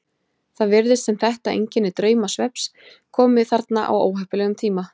Það virðist sem þetta einkenni draumsvefns komi þarna á óheppilegum tíma.